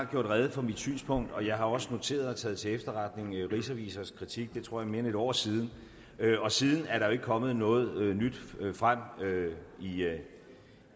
gjort rede for mit synspunkt og jeg har også noteret og taget til efterretning rigsrevisors kritik det tror jeg er mere end et år siden og siden er der jo ikke kommet noget nyt frem